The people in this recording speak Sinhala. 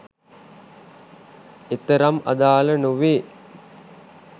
එතරම් අදාල නොවේ